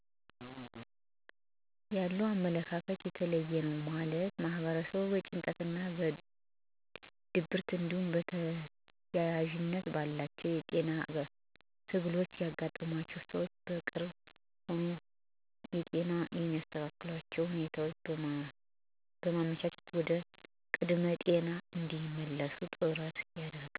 ያለው አመለካከት የተለየ ነው ማለትም ማህበረሰቡ በጭንቀትና ድብርት እንዲሁም ተያያዥነት ባላቸው የጤና ትግሎች ያጋጠማቸውን ሰዎች በቅርበት ሁኖ ጤናቸው የሚስተካከልበትን ሁኔታ በማመቻቸት ወደ ቀደመ ጤናው እንዲመለስ ጥረት ያደርጋል። አመለካከቱም መልካም የሚባል ነው።